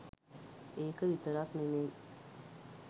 ඒක විතරක් නෙමෙයි